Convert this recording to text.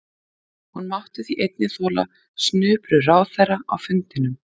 Hún mátti því einnig þola snuprur ráðherra á fundinum.